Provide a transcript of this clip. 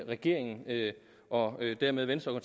regeringen og dermed venstre og